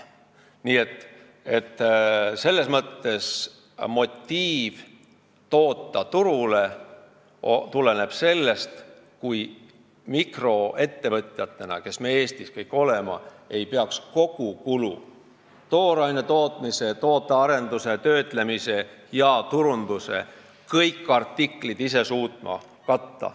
Nii et motiiv turule toota tuleb sellest, kui mikroettevõtjad, kes me kõik Eestis oleme, ei pea ise katma kogu kulu, kõiki tooraine tootmise, tootearenduse, töötlemise ja turundusega seotud artikleid.